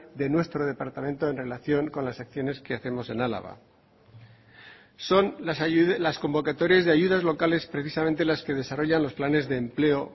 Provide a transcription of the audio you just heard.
de nuestro departamento en relación con las acciones que hacemos en álava son las convocatorias de ayudas locales precisamente las que desarrollan los planes de empleo